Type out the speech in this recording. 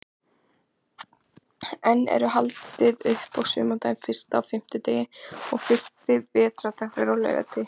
Enn er haldið upp á sumardaginn fyrsta á fimmtudegi og fyrsti vetrardagur er á laugardegi.